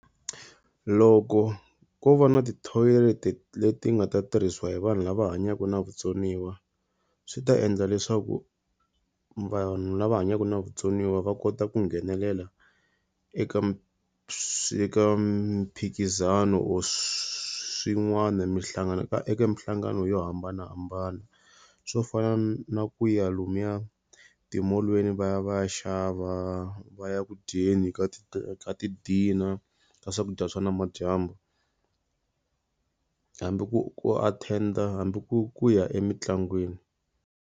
Loko ko va na ti-toilet leti nga ta tirhisiwa hi vanhu lava hanyaka na vutsoniwa, swi ta endla leswaku vanhu lava hanyaka na vutsoniwa va kota ku nghenelela eka mphikizano or swin'wana minhlangano eka eka minhlangano yo hambanahambana. Swo fana na ku ya lomuya timolweni va ya va ya xava, va ya ku dyondzeni ka ti-dinner, ka swakudya swo nimadyambu. Hambi ku ku attend-a hambi ku ku ya emintlangwini.